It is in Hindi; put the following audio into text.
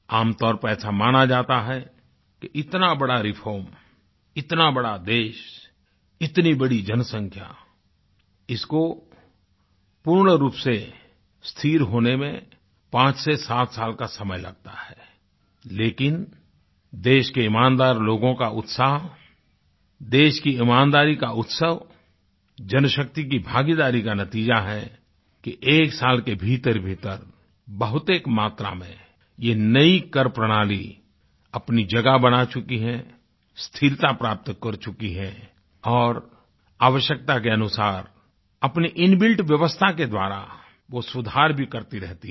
आमतौर पर ऐसा माना जाता है कि इतना बड़ा रिफॉर्म इतना बड़ा देश इतनी बड़ी जनसंख्या इसको पूर्ण रूप से स्थिर होने में 5 से 7 साल का समय लगता है लेकिन देश के ईमानदार लोगों का उत्साह देश की ईमानदारी का उत्सव जनशक्ति की भागीदारी का नतीज़ा है कि एक साल के भीतरभीतर बहुतेक मात्रा में ये नई कर प्रणाली अपनी जगह बना चुकी है स्थिरता प्राप्त कर चुकी है और आवश्यकता के अनुसार अपनी इनबिल्ट व्यवस्था के द्वारा वो सुधार भी करती रहती है